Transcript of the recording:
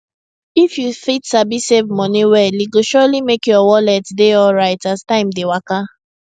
if you fit sabi save money well e go surely make your wallet dey alright as time dey waka